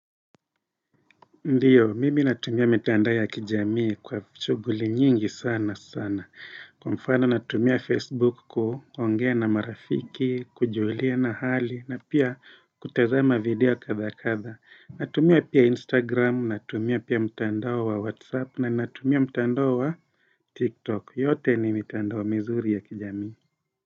Ndiyo, mimi natumia mitanda ya kijamii kwa shughuli nyingi sana sana. Kwa mfano natumia Facebook kuongea na marafiki, kujuliana hali, na pia kutazama video katha katha. Natumia pia Instagram, natumia pia mitandao wa WhatsApp, na natumia mitandao wa TikTok. Yote ni mitandao mizuri ya kijamii.